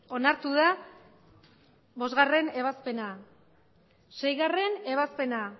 onartu da bostgarrena ebazpena seigarrena ebazpena